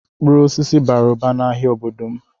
Mkpụrụ osisi bara ụba n'ahịa n'obodo m.